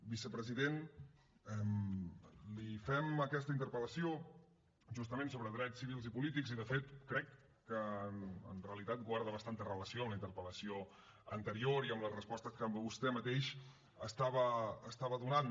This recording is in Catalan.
vicepresident li fem aquesta interpel·lació justament sobre drets civils i polítics i de fet crec que en realitat guarda bastanta relació amb la interpel·lació anterior i amb les respostes que vostè mateix estava donant